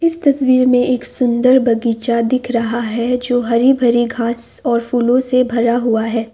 इस तस्वीर में एक सुंदर बगीचा दिख रहा है जो हरी भरी घास और फूलों से भरा हुआ है।